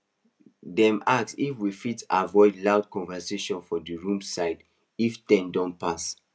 them ask if we fit avoid loud conversations for the room side if ten don pass